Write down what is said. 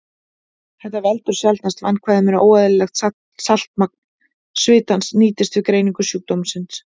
Það veldur sjaldnast vandkvæðum, en óeðlilegt saltmagn svitans nýtist við greiningu sjúkdómsins.